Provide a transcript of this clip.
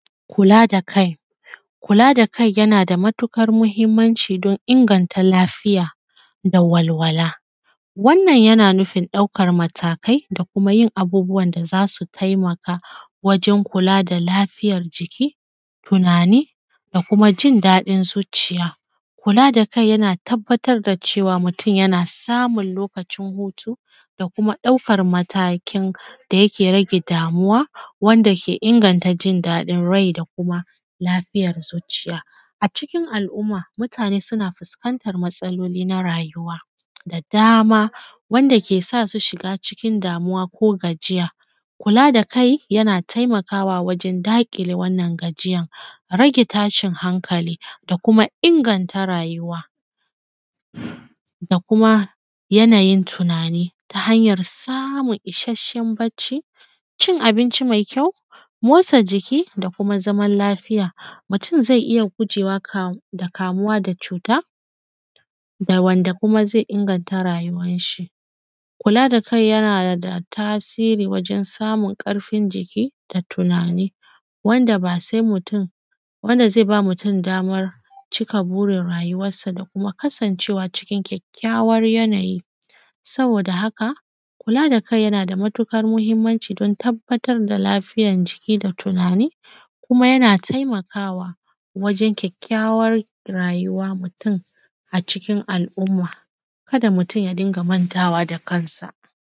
Kula da kai, kula da kai yana da matuƙar muhimmanci don inganta lafiya da walwala. Wannan yana nufin ɗaukan matakai da kuma yin abubuwan da za su taimaka wajen kula da lafiyar jiki, tunani, da kuma jin daɗin zuciya. Kula da kai yana tabbatar da cewa mutum yana samun lokacin hutu da kuma ɗaukan matakin da yake rage damuwa, wanda ke inganta jin daɗin rai da kuma lafiyar zuciya. A cikin al’umma mutane su na fuskantan matsaloli na rayuwa da dama, wanda ke da sa su shiga cikin damuwa ko gajiya ,kula da kai yana taimakawa wajen daƙile wannan gajiyan, rage tashin hankali da kuma inganta rayuwa,, da kuma yana yin tunani ta hanyar samun isashen barci, cin abinci mai kyau, motsa jiki da kuma zaman lafiya. Mutum zai iya gujewa da kamuwa da cuta da wanda kuma zai inganta rayuwa rayuwan shi. Kula da kai yana da tasiri wajen samun ƙarfin jiki da tunani wanda ba sai mutum, wanda zan ba mutum damar cika burin rayuwansa da kuma kasancewa cikin kyakkyawan yana yi saboda haka kula da kai yana da matuƙar muhimmanci don tabbatar da lafiyar jiki da tunani kuma yana taimakawa wajen kyakkyawan rayuwa mutum a cikin al’amma. Kada mutum ya dinga mantawa da kan sa.